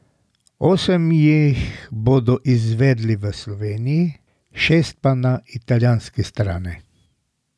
Osem jih bodo izvedli v Sloveniji, šest pa na italijanski strani.